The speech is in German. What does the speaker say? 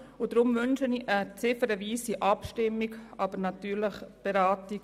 Deshalb wünsche ich eine ziffernweise Abstimmung, jedoch eine gemeinsame Beratung.